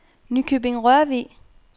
Nykøbing-Rørvig